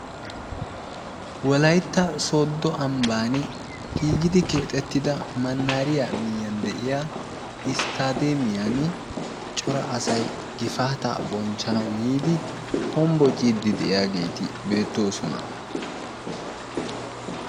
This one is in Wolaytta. Wolaytta sodo ambbani giigidi keexettidda manahariya miyiyaan de'iyaa isttaadeemiyan cora asay gifaataa abonchchanawu yiidi hombociiddi de'iyageeti beettoosona.